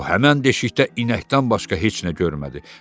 O həmin deşikdə inəkdən başqa heç nə görmədi.